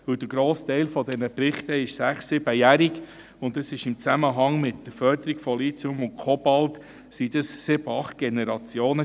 Der grosse Teil dieser Berichte ist sechs-, siebenjährig, und dabei handelt es sich im Zusammenhang mit der Förderung von Lithium und Kobalt um sieben bis acht Generationen.